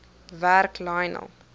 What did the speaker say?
werk lionel